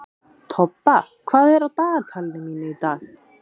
Tobba, hvað er á dagatalinu mínu í dag?